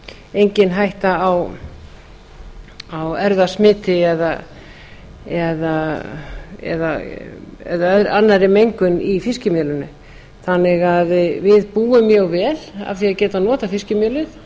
engin hætta á erfðasmiti eða annarri mengun í fiskimjölinu þannig að við búum mjög vel af því að geta notað fiskimjölið